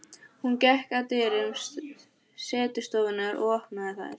Hún gekk að dyrum setustofunnar og opnaði þær.